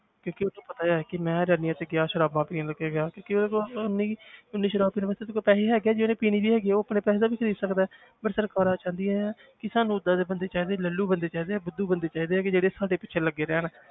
ਕਿਉਂਕਿ ਉਹਨੂੰ ਪਤਾ ਹੈ ਕਿ ਮੈਂ rallies 'ਚ ਗਿਆ ਸਰਾਬਾਂ ਪੀਣ ਕੇ ਗਿਆ ਕਿਉਂਕਿ ਉਹਦੇ ਕੋਲ ਉੱਨੀ ਕੁ ਉੱਨੀ ਸਰਾਬ ਪੀਣ ਵਾਸਤੇ ਉਹਦੇ ਕੋਲ ਪੈਸੇ ਹੈਗੇ ਹੈ ਜੇ ਉਹਨੇ ਪੀਣੀ ਵੀ ਹੈਗੀ ਹੈ ਉਹ ਆਪਣੇ ਪੈਸੇ ਦਾ ਖ਼ਰੀਦ ਸਕਦਾ ਹੈ but ਸਰਕਾਰਾਂ ਚਾਹੁੰਦੀਆਂ ਹੈ ਕਿ ਸਾਨੂੰ ਓਦਾਂ ਦੇ ਬੰਦੇ ਚਾਹੀਦੇ ਲੱਲੂ ਬੰਦੇ ਚਾਹੀਦੇ ਹੈ, ਬੁੱਧੂ ਬੰਦੇ ਚਾਹੀਦੇ ਹੈਗੇ ਜਿਹੜੇ ਸਾਡੇ ਪਿੱਛੇ ਲੱਗੇ ਰਹਿਣ।